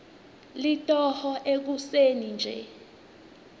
litoho ekuseni nje